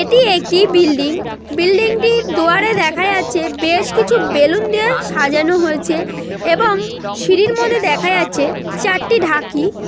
এটি একটি বিল্ডিং বিল্ডিংটির দুয়ারে দেখা যাচ্ছে বেশকিছু বেলুন দিয়ে সাজানো হয়েছে এবং সিঁড়ির মধ্যে দেখা যাচ্ছে চারটি ঢাকি।